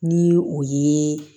Ni o ye